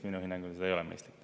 Minu hinnangul see ei ole mõistlik.